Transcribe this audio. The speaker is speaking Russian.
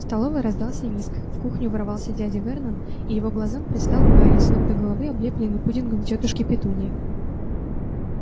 в столовой раздался визг в кухню ворвался дядя вернон и его глазам предстал гарри с ног до головы облепленный пудингом тётушки петуньи